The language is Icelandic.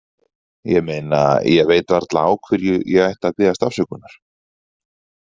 ég meina, ég veit varla á hverju ég ætti að biðjast afsökunar.